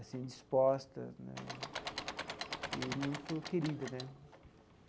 assim, disposta né e muito querida, né?